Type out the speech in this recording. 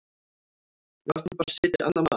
Við áttum bara að setja annað mark.